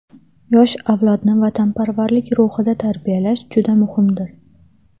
Yosh avlodni vatanparvarlik ruhida tarbiyalash juda muhimdir.